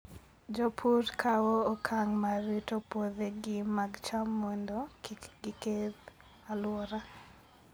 Jopur kawo okang' mar rito puothegi mag cham mondo kik giketh alwora.